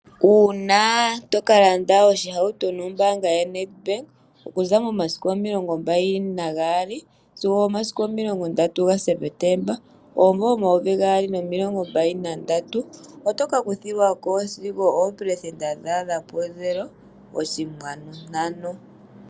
Uuna to kalanda oshihauto nombaanga yo Nedbank okuza mo masiku omilongo mbali na gaali sigo omasiku omilongo ndatu ga Sepetemba omumvo omayovi gaali nomilongo mbali na ndatu, otoka kuthilwako sigo oopelesenda dha adha pu nola oshinkwanu ntano.